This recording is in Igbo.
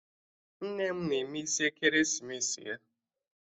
Nne m na-eme isi ekeresimesi ya